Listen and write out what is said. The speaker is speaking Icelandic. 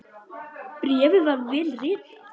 Bréfið var vel ritað.